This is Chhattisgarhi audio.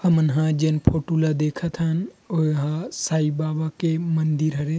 हमन हा जेन फोटो ला देखथन ओइ हां साई बाबा के मंदिर हरे।